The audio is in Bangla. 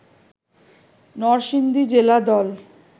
নরসিংদী জেলা দল